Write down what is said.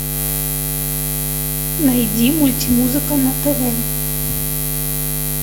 найди мультимузыка на тв